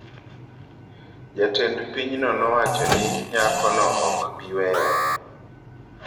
Jatend pinyno nowacho ni nyakono ok bi weyo.